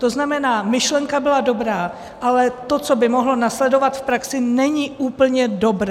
To znamená, myšlenka byla dobrá, ale to, co by mohlo následovat v praxi, není úplně dobré.